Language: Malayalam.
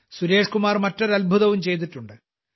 സുരേഷ്കുമാർ മറ്റൊരു അത്ഭുതവും ചെയ്തിട്ടുണ്ട്